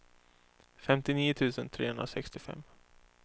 femtionio tusen trehundrasextiofem